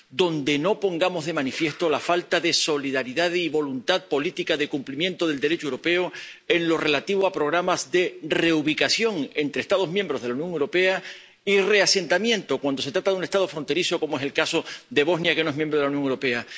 en el que no pongamos de manifiesto la falta de solidaridad y voluntad política de cumplimiento del Derecho europeo en lo relativo a programas de reubicación entre Estados miembros de la Unión Europea y de reasentamiento, cuando se trata de un Estado fronterizo, como es el caso de Bosnia, que no es miembro de la Unión Europea.